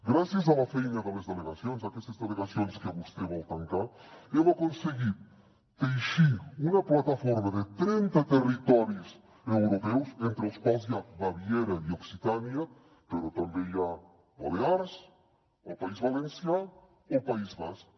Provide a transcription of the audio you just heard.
gràcies a la feina de les delegacions d’aquestes delegacions que vostè vol tancar hem aconseguit teixir una plataforma de trenta territoris europeus entre els quals hi ha baviera i occitània però també hi ha balears el país valencià o el país basc